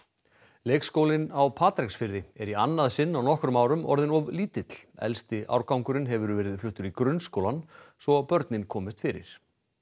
leikskólinn á Patreksfirði er í annað sinn á nokkrum árum orðinn of lítill elsti árgangurinn hefur verið fluttur í grunnskólann svo börnin komist fyrir